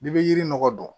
I bɛ yiri nɔgɔ don